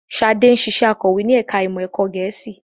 Ṣadé ń ṣiṣẹ́ akọ̀wé ní ẹ̀ka ìmọ̀ ẹ̀kọ́ Gẹ̀ẹ́sì